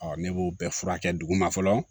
ne b'o bɛɛ furakɛ dugu ma fɔlɔ